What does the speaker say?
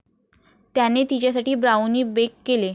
त्याने तिच्यासाठी brownie bake केले.